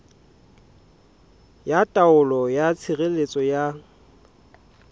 ya taelo ya tshireletso ya